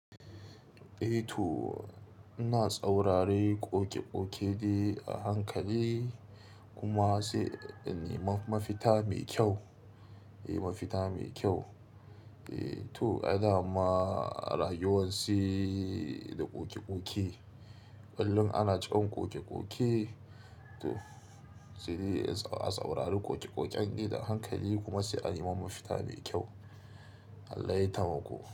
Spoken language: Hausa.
Eh to, ina tsaurare ƙoƙe-ƙoke dai a hankali kuma sai in nime mafita mai kyau. Eh mafita mai kyau. Eh to, ada ma rayuwar si da ƙoƙe-ƙoke. Ƙullun ana tsawon ƙoƙe-ƙoke to, sidi a tsaurare ƙoƙe-ƙoken dai a hankali kuma sai an yi mafita mai kyau. Allah ya taimako.